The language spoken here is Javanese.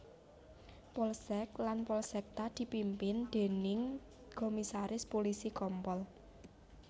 Polsek lan Polsekta dipimpin déning Komisaris Pulisi Kompol